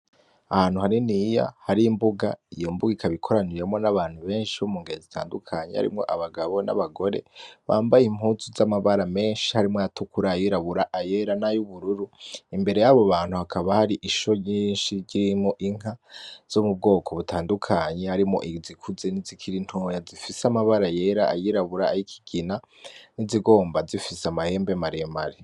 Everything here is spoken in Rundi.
Ahantu haniniya hari imbuga, iyo mbuga ikaba ikoraniyemwo n'abantu benshi bo mu ngero zitandukanye harimwo abagabo n'abagore bambaye impuzu z'amabara menshi harimwo ayatukura, ayirabura, ayera, n'ayubururu, imbere yabo bantu hakaba hari insho nyinshi irimwo inka zo mu bwoko butandukanye harimwo izikuze n'izikiri ntoya, zifise amabara yera, ayirabura, ayikigina, n'izigomba zifise amahembe maremare.